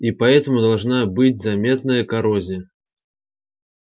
и поэтому должна быть заметная коррозия